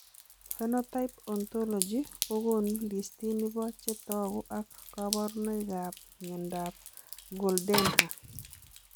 Phenotype ontology kokoonu listini bo chetogu ak kaborunoik ab miondab Goldenhar